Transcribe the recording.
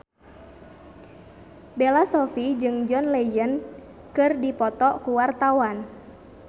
Bella Shofie jeung John Legend keur dipoto ku wartawan